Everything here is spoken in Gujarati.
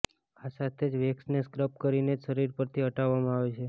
આ સાથે જ વેક્સને સ્ક્રબ કરીને જ શરીર પરથી હટાવવામાં આવે છે